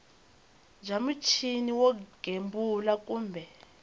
bya muchini wo gembula kumbe